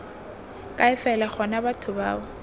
kae fela gona batho bao